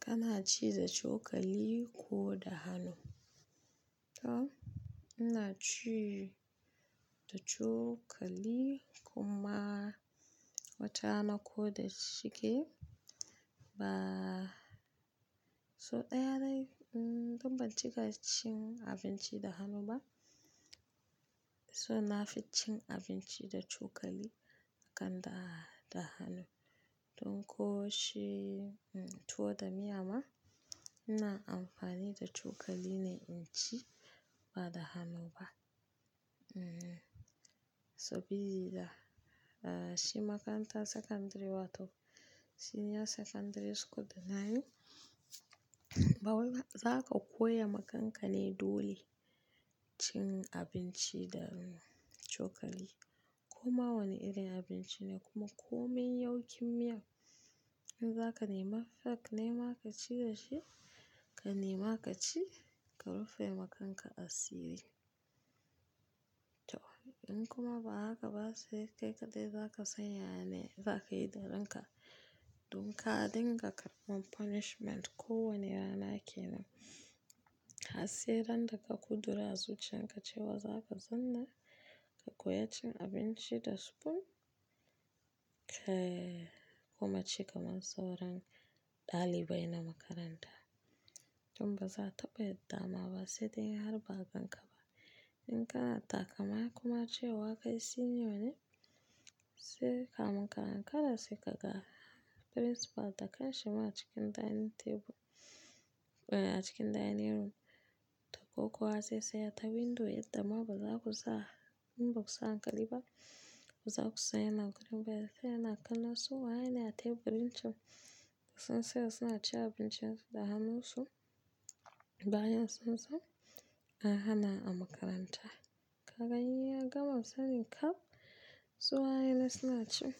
Kana ci da cokali ko da hannu? To ina ci da cokali kuma watarana ko da shike ba. So ɗaya dai, mm-dun ban ci ka cin abinci da hannu ba. So na fi cin abinci da cokali akan da, da hannu. Don ko shi, mm, tuwo da miya ma ina amfani da cokali ne in ci ba da hannu ba. Mm, sabida, uh, shi makarantar sakandare wato senior secondary school da na yi, ba wanda za ka koya ma kanka ne dole cin abinci da, mm, cokali. Kuma wane irin abinci ne kuma komin yawkin miya in za ka nema fork nema ka ci da shi, ka nema ka ci ka rufe ma kanka asiri. To in kuma ba haka ba sai ƙaiƙadai za ka sanya ne za ka yi da ranka. Don ka dinga karɓon punishment kowane rana ke nan. Hasse randaja kudira a zuciyar ka cewa za ka zauna ka koya cin abinci da spoon, eh, kuma ci kamar sauran ɗalibai na makaranta. Dun ba za a taɓa yadda ma ba sai dai har ba banka ba. In kana takama kuma cewa ka yi senior ne sai ka mun ka-ankara sai ka ga principal da kanshi ma a cikin dining table, eh, a cikin dining room. To ko kuwa zai tsaya ta window yadda ma ba za ku za, in ba ku sa hankali ba baza ku sanya na gurin bayana. Ya tsaya yana kallon su waye ne a teburin can suna tsaya suna cin abincin su da hannun su bayan sun san an hana a makaranta. Ka ga in ya gama misalin kaf su waye ne suna cin